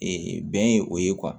Ee bɛn ye o ye